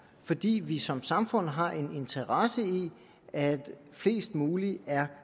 fordi vi som samfund har en interesse i at flest mulige er